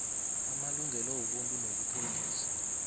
amalungelo wobuntu nobupholisa